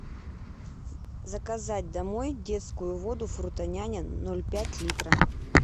заказать домой детскую воду фрутоняня ноль пять литра